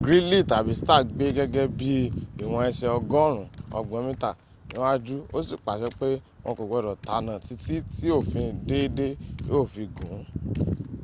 gridley tàbí stark gbé gègé bí i ìwọn ẹsẹ̀ ọgọ́rùn ún ọgbọ̀n mítà níwájú ósì pàṣẹ pé wọn kò gbọdọ̀ tanná títí tí òfin déédé yóó fi gùn ún